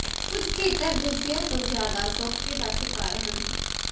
ਕੁਝ ਖੇਤਰ ਦੂਜਿਆਂ ਤੋਂ ਜ਼ਿਆਦਾ ਸੋਕੇ ਦਾ ਸ਼ਿਕਾਰ ਹਨ